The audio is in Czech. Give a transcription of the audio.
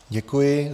Děkuji.